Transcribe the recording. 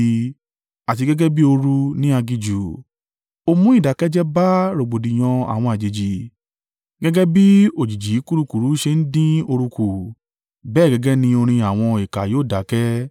àti gẹ́gẹ́ bí ooru ní aginjù. O mú ìdákẹ́ jẹ́ẹ́ bá rògbòdìyàn àwọn àjèjì, gẹ́gẹ́ bí òjìji kurukuru ṣe ń dín ooru kù, bẹ́ẹ̀ gẹ́gẹ́ ni orin àwọn ìkà yóò dákẹ́.